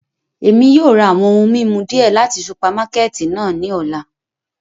Emi yóò ra awọn ohun mimu diẹ lati supamakẹti náa ni ọla